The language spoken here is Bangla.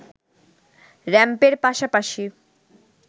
র‌্যাম্পের পাশাপাশি